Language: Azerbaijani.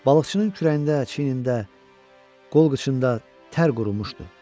Balıqçının kürəyində, çiynində, qol-qıçında tər qurumuşdu.